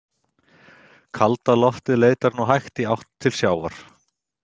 Kalda loftið leitar nú hægt í átt til sjávar.